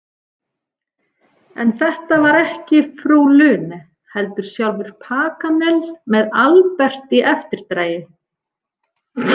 En þetta var ekki frú Lune, heldur sjálfur Paganel með Albert í eftirdragi.